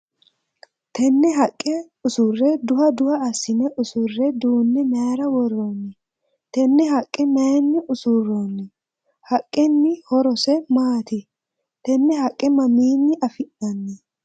Tenne haqa usure duha duha asine usure duune mayira woroonni? Tenne haqe mayinni usuroonni? Haqenni horose maati? Tenne haqa mamiinni afi'nanni?